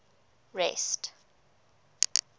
rest